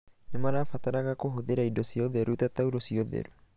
Nĩ marabataraga kũhũthĩra indo cia ũtheru ta taurũ cia ũtheru.